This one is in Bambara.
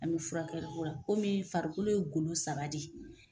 An bɛ furakɛli la komi farikolo ye golo saba de ye.